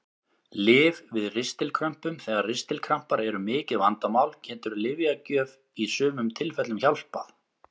Lyf við ristilkrömpum Þegar ristilkrampar eru mikið vandamál getur lyfjagjöf í sumum tilfellum hjálpað.